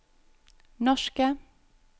norske